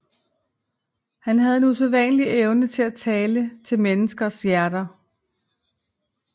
Han havde en usædvanlig evne til at tale til menneskers hjerter